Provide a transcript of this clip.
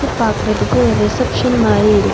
பாக்குறதுக்கு ஒரு ரிசப்ஷன் மாரி இருக்--